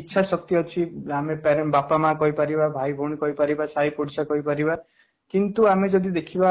ଇଚ୍ଛା ଶକ୍ତି ଅଛି ଆମେ ତାର ବାପା ମାଆ କହିପାରିବା ଭାଇ ଭଉଣୀ କହିପାରିବା ସାହି ପଡିଶା କହିପାରିବା କିନ୍ତୁ ଆମେ ଯଦି ଦେଖିବା